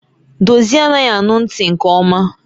Dozie anaghị anụ ntị nke ọma